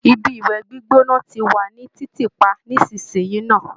Ibi ìwẹ̀ gbígbóná ti wà ní títì pa nísinsìnyí ná